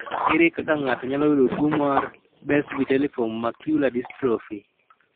Ere kaka ng'ato nyalo yudo tuo mar Best vitelliform macular dystrophy?